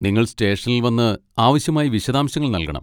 നിങ്ങൾ സ്റ്റേഷനിൽ വന്ന് ആവശ്യമായ വിശദാംശങ്ങൾ നൽകണം.